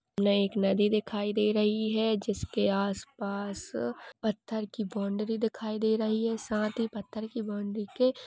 ने एक नदी दिखाई दे रही है जिसके आस पास पत्थर की बॉउन्ड्री दिखाई दे रही है साथ ही पत्थर की बॉउन्ड्री के--